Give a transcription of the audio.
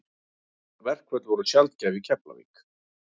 Verkföll voru sjaldgæf í Keflavík.